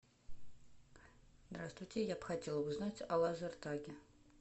здравствуйте я бы хотела узнать о лазертаге